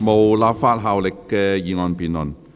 無立法效力的議案辯論。